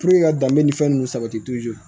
ka danbe ni fɛn nunnu sabati